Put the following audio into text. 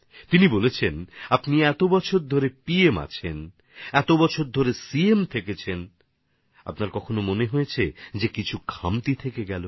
তিনি বলেছেন আপনি এত বছর ধরে প্রধানমন্ত্রী এত বছর ধরে মুখ্যমন্ত্রী ছিলেন আপনার কি মনে হয় যে কোনো কিছু ত্রুটি রয়ে গেছে